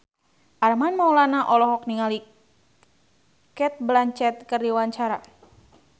Armand Maulana olohok ningali Cate Blanchett keur diwawancara